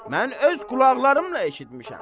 Mən öz qulaqlarımla eşitmişəm.